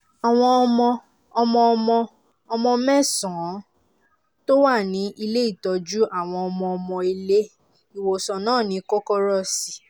àwọn ọmọ-ọmọ ọmọ-ọmọ mẹ́sàn-án tó wà ní ilé-ìtọ́jú àwọn ọmọ-ọmọ ilé ìwòsàn náà ni kòkòrò sì